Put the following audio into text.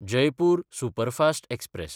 Jaipur superfast express